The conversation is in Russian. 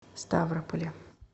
ставрополе